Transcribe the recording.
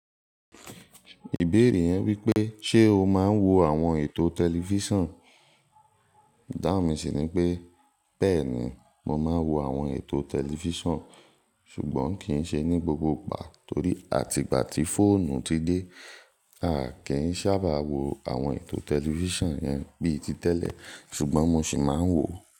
Ìbéèrè yẹn wípé: "Ṣé o máa ń wo àwọn ètò tẹlifísàn?" ìdáhùn mi sì ní pé: "Bẹ́ẹ̀ni, mo máa ń wo àwọn ètò tẹlifísàn, ṣùgbọ́n kì í ṣe ní gbogbo ìgbà torí àtìgbà tí fóònù ti dé, a kì í sábà wo àwọn ètò tẹlifísàn yẹn bí i ti tẹ́lẹ̀, ṣùgbọ́n mo sì máa ń wò ó."